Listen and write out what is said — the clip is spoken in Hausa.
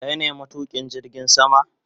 Kai ne matukin jirgin sama?